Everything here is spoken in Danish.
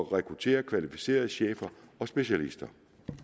rekruttere kvalificerede chefer og specialister